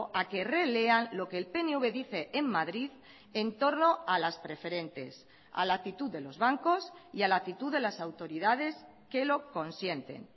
a que relean lo que el pnv dice en madrid en torno a las preferentes a la actitud de los bancos y a la actitud de las autoridades que lo consienten